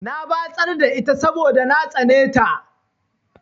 Na batsar da ita saboda na tsane ta.